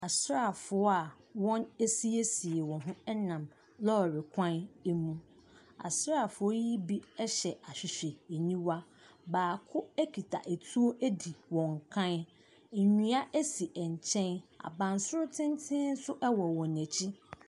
Asraafoɔ a wɔn asiesie wɔn ho ɛnam lorry kwan emu asraafoɔ yi bi ɛhyɛ ahwehwɛniwa baako ɛkura tuo edi wɔn kan nnua esi nkyɛn abansoro tententen nso ɛwɔ wɔn akyi.